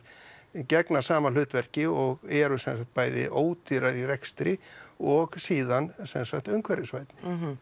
gegna sama hlutverki og eru sem sagt bæði ódýrari í rekstri og síðan sem sagt umhverfisvænni